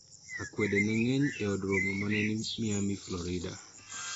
Akwede ne ng'eny e od romo ma ne ni Miami, Florida